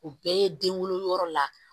O bɛɛ ye den wolo yɔrɔ la